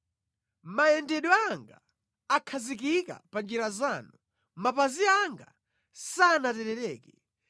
Mayendedwe anga akhazikika pa njira zanu; mapazi anga sanaterereke.